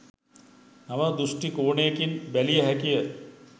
නව දෘෂ්ටි කෝණයකින් බැලිය හැකිය